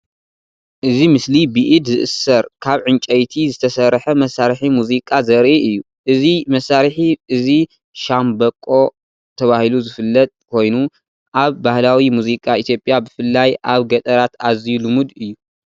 እዚ ምስሊ ብኢድ ዝእሰር ካብ ዕንጨይቲ ዝተሰርሐ መሳርሒ ሙዚቃ ዘርኢ እዩ። እዚ መሳርሒ እዚ “ሻምበቆ” ተባሂሉ ዝፍለጥ ኮይኑ፡ ኣብ ባህላዊ ሙዚቃ ኢትዮጵያ ብፍላይ ኣብ ገጠራት ኣዝዩ ልሙድ እዩ።